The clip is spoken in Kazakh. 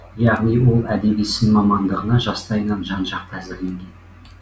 яғни ол әдеби сын мамандығына жастайынан жан жақты әзірленген